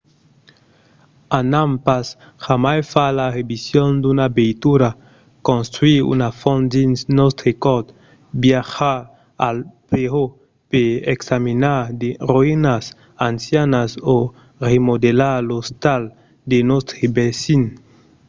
anam pas jamai far la revision d'una veitura construire una font dins nòstre cort viatjar a peró per examinar de roïnas ancianas o remodelar l‘ostal de nòstre vesin